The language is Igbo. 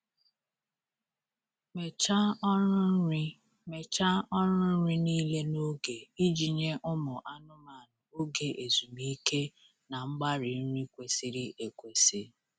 Mechaa ọrụ nri Mechaa ọrụ nri niile n'oge iji nye ụmụ anụmanụ oge ezumike na mgbari nri kwesịrị ekwesị.